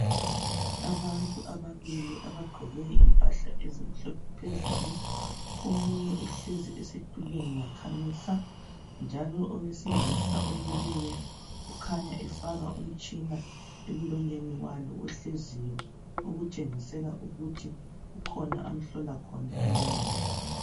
Abantu ababili abagqoke impahla ezimhlophe phezulu. Omunye uhlezi esitulweni wakhamisa. Njalo owesilisa omileyo ukhanya efaka umtshina emlonyeni walo ohleziyo okutshengisela ukuthi kukhona amhlola khona emlonyeni.